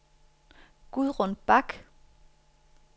Gudrun Bak